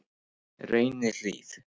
Reynihlíð